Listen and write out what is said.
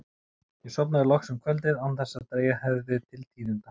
Ég sofnaði loks um kvöldið án þess að dregið hefði til tíðinda.